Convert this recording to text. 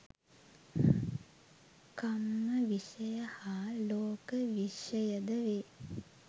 කම්ම විෂය හා ලෝක විෂයයද වේ.